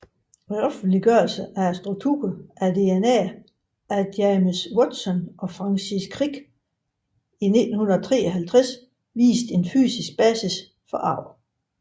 Offentliggørelsen af strukturen af DNA af James Watson og Francis Crick i 1953 viste en fysisk basis for arv